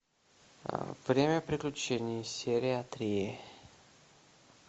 время приключений серия три